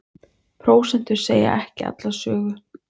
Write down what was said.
Prósentur segja ekki alla sögu